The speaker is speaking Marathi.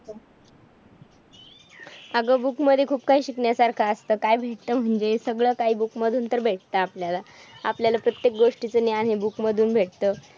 अगं book मध्ये खूप काही शिकण्या सारखं असतं. काय भेटतं म्हणजे? सगळं काही book मधून तर भेटतं आपल्याला. आपल्याला प्रत्येक गोष्टीचं ज्ञान हे book मधून भेटतं.